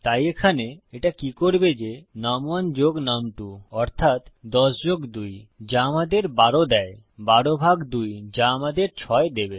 তাই এখানে এটা কি করবে যে নুম1 যোগ নুম2 অর্থাত ১০ যোগ ২ যা ১২ আমাদের দেয় ১২ ভাগ ২ যা আমাদের ৬ দেবে